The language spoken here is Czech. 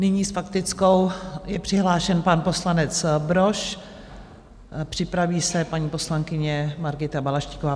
Nyní s faktickou je přihlášen pan poslanec Brož, připraví se paní poslankyně Margita Balaštíková.